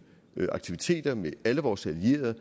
aktiviteter med alle vores allierede